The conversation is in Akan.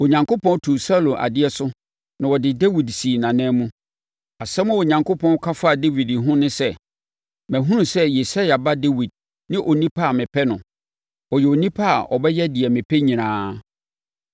Onyankopɔn tuu Saulo adeɛ so na ɔde Dawid sii nʼanan mu. Asɛm a Onyankopɔn ka faa Dawid ho ne sɛ, ‘Mahunu sɛ Yisai ba Dawid ne onipa a mepɛ no; ɔyɛ onipa a ɔbɛyɛ deɛ mepɛ nyinaa.’